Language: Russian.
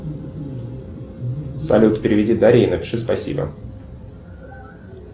салют переведи дарье и напиши спасибо